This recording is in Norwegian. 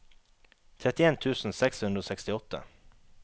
trettien tusen seks hundre og sekstiåtte